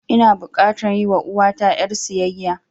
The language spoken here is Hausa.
Ina bukatan yi wa uwata ƴar siyayya